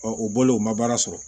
o bɔlen o ma baara sɔrɔ